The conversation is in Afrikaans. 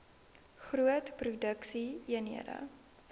groot produksie eenhede